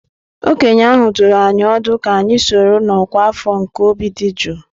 Okenye ahụ dụrụ anyị ọdụ ka anyị sonye na ọkwa afọ nke obi dị jụụ.